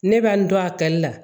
Ne bɛ n to a kɛli la